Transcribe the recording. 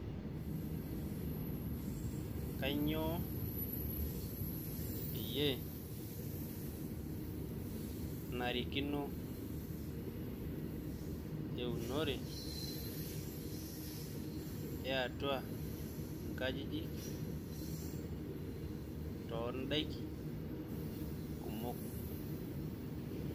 kainyioo peyiee enarikino eunore eatuaa inkajijik tondaiki kumok?